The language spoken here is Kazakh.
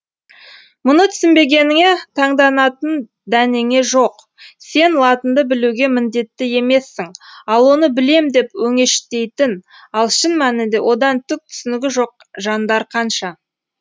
мұны түсінбегеніңе таңданатын дәнеңе жоқ сен латынды білуге міндетті емессің ал оны білем деп өңештейтін ал шын мәнінде одан түк түсінігі жоқ жандар қанша